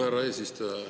Härra eesistuja!